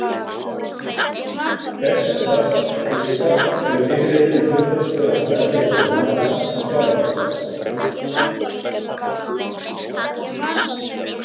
ferskvatnsfiskar eru yfirleitt með hlutfallslega stærri sundmaga en sjávarfiskar